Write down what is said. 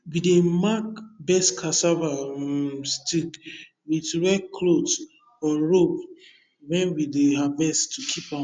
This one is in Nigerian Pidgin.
we dey mark best cassava um stick with red cloth or rope when we dey harvest to keep am